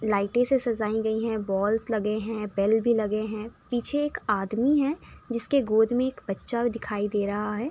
लाइटे से सजाई गई हैं। बाल्स लगे हैं। बेल भी लगे हैं। पीछे एक आदमी है जिसके गोद में एक बच्चा भी दिखाई दे रहा है।